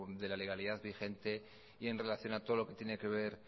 de la legalidad vigente y en relación a todo lo que tiene que ver